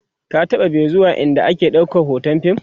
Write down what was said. ka taɓa be zuwa ind ake ɗaukan hoton fim?